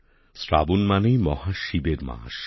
শ্রাবণ মানেই মহাশিবের মাস